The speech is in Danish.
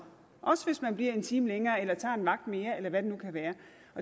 også hvis man bliver en time længere eller tager en vagt mere eller hvad det nu kan være